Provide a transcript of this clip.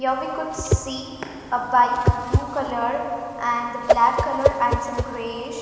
here we could see a bike blue colour and black colour and some greyish.